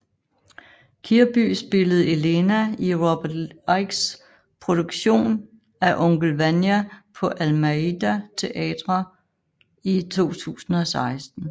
Kirby spillede Elena i Robert Ickes produktion af Onkel Vanya på Almeida Theatre i 2016